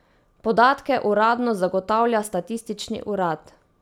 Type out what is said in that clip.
Podatke uradno zagotavlja statistični urad.